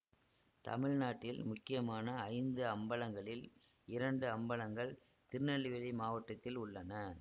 தமிழ் நாட்டில் முக்கியமான ஐந்து அம்பலங்களில் இரண்டு அம்பலங்கள் திருநெல்வேலி மாவட்டத்தில் உள்ளன